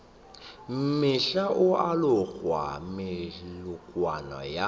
mohla o alogago moletlong wa